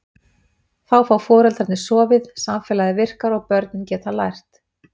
Þá fá foreldrarnir sofið, samfélagið virkar og börnin geta lært.